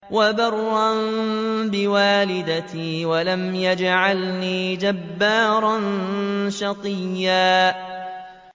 وَبَرًّا بِوَالِدَتِي وَلَمْ يَجْعَلْنِي جَبَّارًا شَقِيًّا